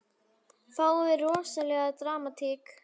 Fáum við rosalega dramatík?